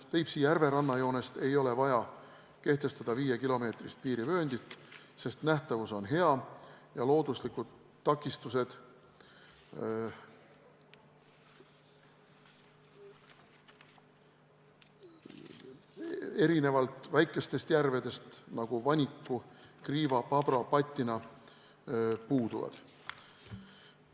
Peipsi järve rannajoonest ei ole vaja kehtestada 5-kilomeetrist piirivööndit, sest nähtavus on hea ja looduslikud takistused erinevalt väikestest järvedest, nagu Vaniku, Kriiva ja Pabra, Pattina, puuduvad.